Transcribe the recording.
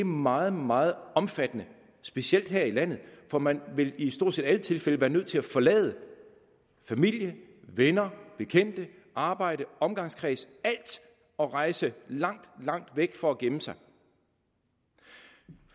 meget meget omfattende specielt her i landet for man vil i stort set alle tilfælde være nødt til at forlade familie venner bekendte arbejde omgangskreds alt og rejse langt langt væk for at gemme sig